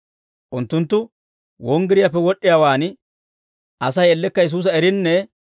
Unttunttu wonggiriyaappe wod'd'iyaawaan, Asay ellekka Yesuusa erinne